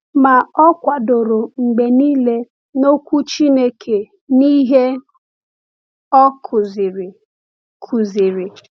Ma o kwadoro mgbe niile n’Okwu Chineke n’ihe o kụziri. kụziri.